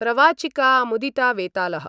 प्रवाचिका मुदिता वेतालः